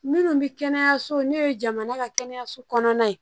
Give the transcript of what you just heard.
Minnu bɛ kɛnɛyaso n'u ye jamana ka kɛnɛyaso kɔnɔna ye